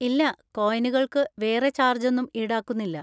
ഇല്ല, കോയിനുകൾക്ക് വേറെ ചാർജ് ഒന്നും ഈടാക്കുന്നില്ല.